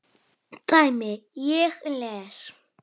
dæmi: Ég les.